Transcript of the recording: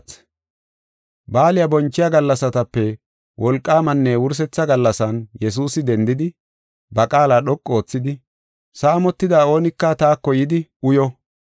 Baaliya bonchiya gallasatape wolqaamanne wursetha gallasan Yesuusi dendidi, ba qaala dhoqu oothidi, “Saamotida oonika taako yidi uyo.